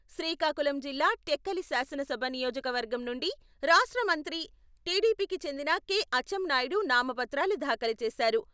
శ్రీకాకుళం జిల్లా టెక్కలి శాసనసభ నియోజక వర్గం నుండి రాష్ట్ర మంత్రి టిడిపి కి చెందిన కె.అచ్చెంనాయుడు నామపత్రాలు దాఖలు చేశారు.